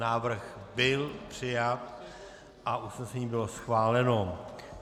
Návrh byl přijat a usnesení bylo schváleno.